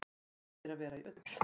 Best er að vera í ull.